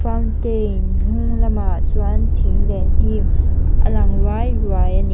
fauntain hnung lamah chuan thing leh hnim a lang ruai ruai a ni.